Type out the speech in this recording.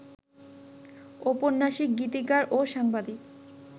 ঔপন্যাসিক, গীতিকার ও সাংবাদিক